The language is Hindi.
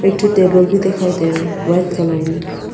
टेबल भी दिखाई दे रहा है वाइट कलर में।